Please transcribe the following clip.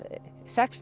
sex